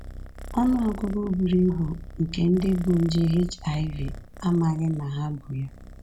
Ọnụ ọgụgụ buru ibu nke ndị bu nje HIV amaghị na ha bu ya